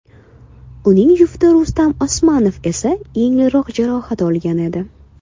Uning jufti Rustam Osmanov esa yengilroq jarohat olgan edi.